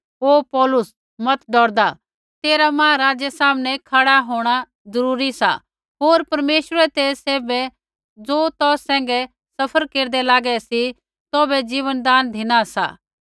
हे पौलुस मत डौरदा तेरा महाराज़ै सामनै खड़ा होंणा ज़रूरी सा होर परमेश्वरै ते सैभै ज़ो तौ सैंघै सफ़र केरदै लागै सी तौभै जीवनदान धिना सा